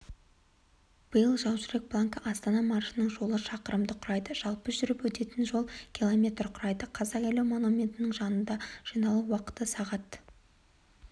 биыл жаужүрек полкі астана маршының жолы шақырымды құрайды жалпы жүріп өтетін жол км құрайды қазақ елі монументінің жанында жиналу уақыты сағат